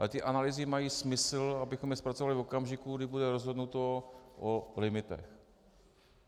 Ale ty analýzy mají smysl, abychom je zpracovali v okamžiku, kdy bude rozhodnuto o limitech.